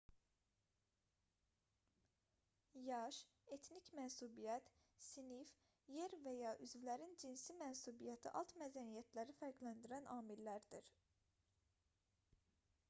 yaş etnik mənsubiyyət sinif yer və/və ya üzvlərin cinsi mənsubiyyəti alt mədəniyyətləri fərqləndirən amillərdir